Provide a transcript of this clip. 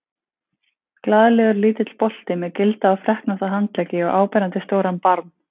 Glaðlegur, lítill bolti með gilda og freknótta handleggi og áberandi stóran barm.